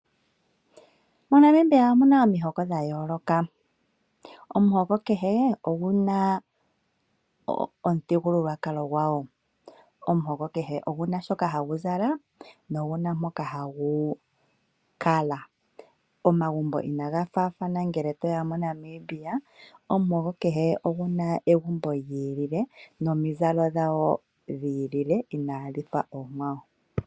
MoNamibia omu na omihoko dhayoloka, omuhoko kehe ogu na omuthigululwakalo gwawo, omuhoko kehe oguna shoka hagu zala noguna mpoka hagu kala. Omagumbo inaga fathana moNamibia omuhoko kehe ogu na egumbo lyi ilile, nomizalo dhawo dhi ilile inadhi fa omikwawo.